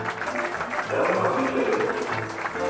ഹ്മ് ഇജ്ജ് അതൊന്നും മറന്നിട്ട്ലാല്ലേ ഇപ്പൊളും